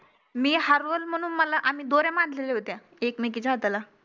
मी हरवलं म्हणून मला आम्ही दोऱ्या बांधलेल्या होत्या एकमेकिंच्या हाताला